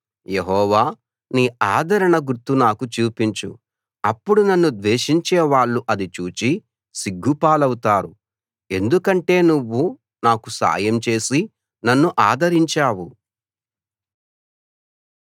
యెహోవా నీ ఆదరణ గుర్తు నాకు చూపించు అప్పుడు నన్ను ద్వేషించే వాళ్ళు అది చూచి సిగ్గుపాలవుతారు ఎందుకంటే నువ్వు నాకు సాయం చేసి నన్ను ఆదరించావు